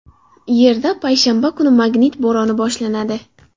Yerda payshanba kuni magnit bo‘roni boshlanadi.